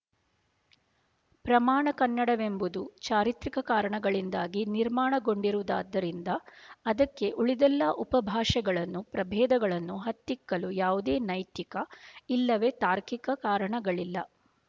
ಪ್ರಮಾಣ ಕನ್ನಡವೆಂಬುದು ಚಾರಿತ್ರಿಕ ಕಾರಣಗಳಿಂದಾಗಿ ನಿರ್ಮಾಣಗೊಂಡಿರುವುದಾದ್ದರಿಂದ ಅದಕ್ಕೆ ಉಳಿದೆಲ್ಲ ಉಪಭಾಷೆಗಳನ್ನು ಪ್ರಭೇದಗಳನ್ನು ಹತ್ತಿಕ್ಕಲು ಯಾವುದೇ ನೈತಿಕ ಇಲ್ಲವೇ ತಾರ್ಕಿಕ ಕಾರಣಗಳಿಲ್ಲ